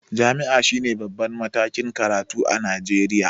Jam'i shine babban matakin karatu a Najeriya